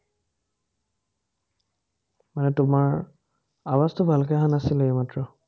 মানে তোমাৰ আৱাজটো ভালকে অহা নাছিলে এইমাত্ৰ